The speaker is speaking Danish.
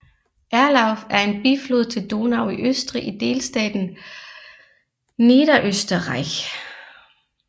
Erlauf er en biflod til Donau i Østrig i delstaten Niederösterreich